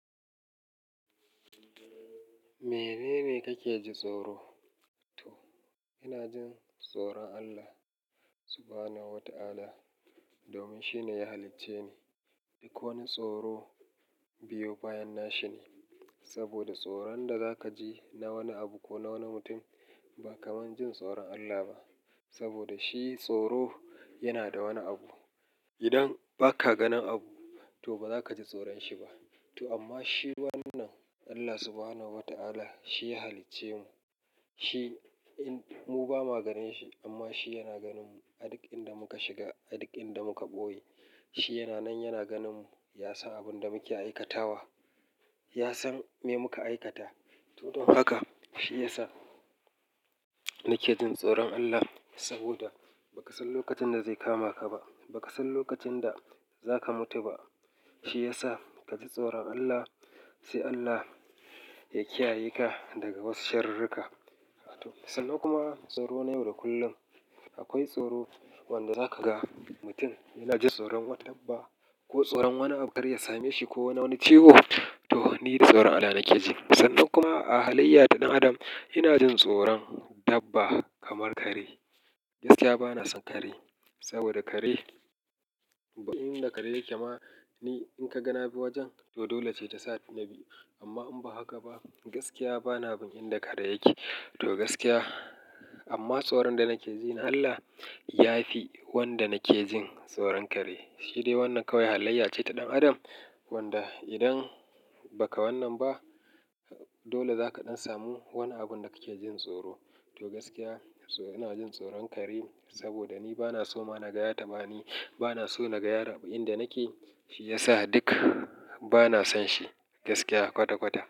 Menene kake ji tsoro? To ina jin tsoron Allah Subhanahu wa Ta'ala domin shine ya halicce ni. Duk wani tsoro biyo bayan nashi ne saboda tsoron da za ka ji na wani abu ko na wani mutum ba kamar jin tsoron Allah ba. Saboda shi tsoro yana da wani abu. Idan ba ka ganin abu to ba za ka ji tsoron shi ba. To amma shi wannan Allah Subhanahu wa Ta'ala shi ya halicce mu. Shi mu ba mu ganin shi amma shi yana ganin mu. Ad duk inda muka shiga, ad duk inda muka ɓoye. Shi yana nan yana ganin mu, ya san abin da muke aikatawa. Ya san me muka aikata. To don haka shi ya sa nake jin tsoron Allah saboda ba ka san lokacin da zai kama ka ba. Ba ka san lokacin da za ka mutu ba. Shi ya sa ka ji tsoron Allah sai Allah ya kiyaye ka daga wasu sharruka. To sannan kuma tsoro na yau da kullum akwai tsoro wanda za ka ga mutum yana jin tsoron wata dabba ko tsoron wani abu kar ya same shi ko wani ciwo. To ni da tsoron Allah nake ji. Sannan kuma a halayya ta ɗan adam ina jin tsoron dabba kamar kare. Gaskiya bana son kare saboda kare, abu inda kare yake ma ni in ka ga na bi wajen to dole ce ta sa ni na bi. Amma in ba haka ba gaskiya bana bin inda kare yake. To gaskiya amma tsoron da nake ji na Allah ya fi wanda nake jin tsoron kare. Shi dai wannan kawai halayya ce ta ɗan adam wanda idan ba ka wannan ba dole za ka ɗan samu wani abun da kake jin tsoro. To gaskiya ina jin tsoron kare saboda ni bana so ma na gaya ta ma ni bana so na gaya inda nake. Shi ya sa duk bana son shi gaskiya kwata-kwata.